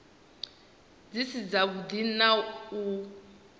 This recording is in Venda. dzi si dzavhuḓi na u